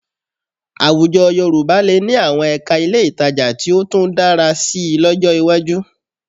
Àwùjọ Yorùbá lè ní àwọn ẹ̀ka ilé ìtajà tí ó tún dára síi lọ́jọ́ iwájú